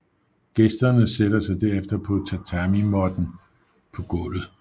Gæsterne sætter sig derefter på tatamimåtten på gulvet